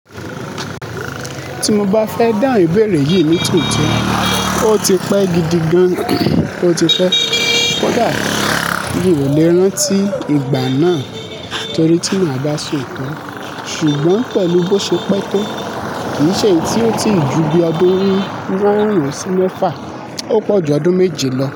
Tí mo bá fẹ́ dá ìbéèrè yìí nítòótó, ó ti pẹ́ gidi gan. Ó ti pẹ́. Kódà mi ò lè rántí ìgbà náà torí tí màá dá so otọ́. Ṣùgbọ́n pẹ̀lú bó ṣe pẹ́ tó, kì í ṣe èyí tí ó ti í ju bí odun márun sí mefá. Ó pọ̀ ju ọdún méje lọ.